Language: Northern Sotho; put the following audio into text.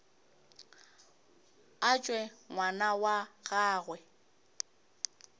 a tšwe ngwana wa gagwe